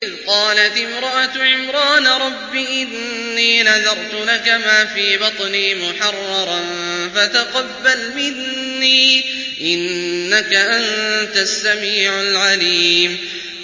إِذْ قَالَتِ امْرَأَتُ عِمْرَانَ رَبِّ إِنِّي نَذَرْتُ لَكَ مَا فِي بَطْنِي مُحَرَّرًا فَتَقَبَّلْ مِنِّي ۖ إِنَّكَ أَنتَ السَّمِيعُ الْعَلِيمُ